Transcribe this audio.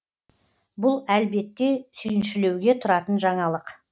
бұл әлбетте сүйіншілеуге тұратын жаңалық